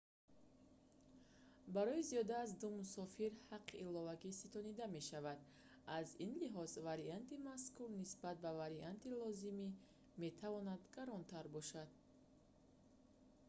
барои зиёда аз 2 мусофир ҳаққи иловагӣ ситонида мешавад аз ин лиҳоз варианти мазкур нисбат ба варианти лозимӣ метавонад гаронтар бошад